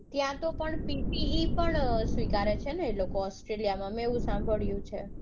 ત્યાંતો પણ PTE પણ સ્વીકારે છે એ લોકો australia માં મેં એવું સાંભળ્યું છે.